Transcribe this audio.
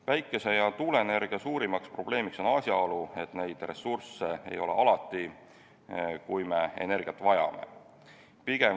Päikese- ja tuuleenergia puhul on suurim probleem asjaolu, et neid ressursse ei ole alati, kui me energiat vajame.